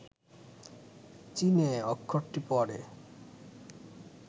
চীনে, অক্ষরটি পরে